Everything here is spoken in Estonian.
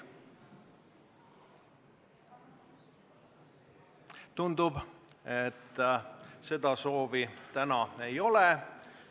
Tundub, et seda soovi täna ei ole.